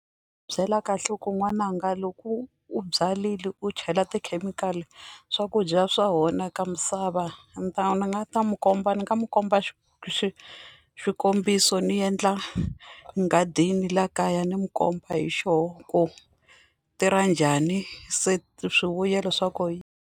Byela kahle ku n'wananga loko u byarile u chela tikhemikhali swakudya swa onhaka misava ni ta ni nga ta mu komba ni nga mu komba xikombiso ni endla nghadini laha kaya ni n'wi komba hi xona ku tirha njhani se swivuyelo swa ku yi.